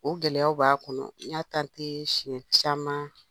O gɛlɛyaw b'a kɔnɔ, n y'a siɲɛn caman.